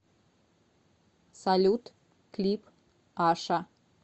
салют клип аша